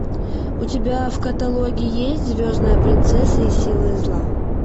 у тебя в каталоге есть звездная принцесса и силы зла